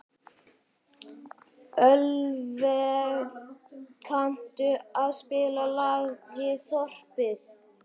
Ölveig, kanntu að spila lagið „Þorpið“?